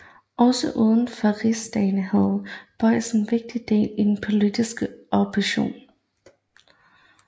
Også uden for Rigsdagen havde Bojsen vigtig del i den politiske opposition